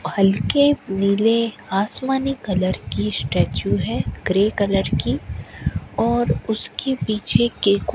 हल्के नीले आसमानी कलर की स्टेच्यू है ग्रे कलर की और उसके पीछे के को --